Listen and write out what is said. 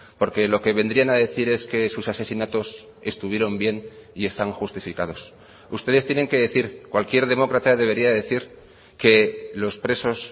porque lo que vendrían a decir es que sus asesinatos estuvieron bien y están justificados ustedes tienen que decir cualquier demócrata debería de decir que los presos